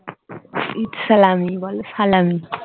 ইদ সালামী বল সালামী